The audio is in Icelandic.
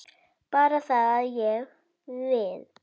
Bara það að ég. við.